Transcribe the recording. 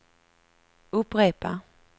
upprepa